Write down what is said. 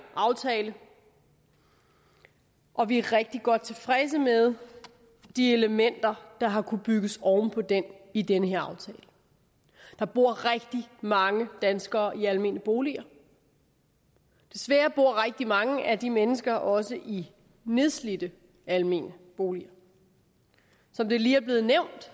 aftaler og vi er rigtig godt tilfredse med de elementer der har kunnet bygges oven på dem i den her aftale der bor rigtig mange danskere i almene boliger desværre bor rigtig mange af de mennesker også i nedslidte almene boliger som det lige er blevet nævnt